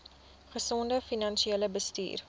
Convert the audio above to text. gesonde finansiële bestuur